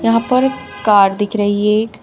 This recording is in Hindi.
यहां पर कार दिख रही है एक।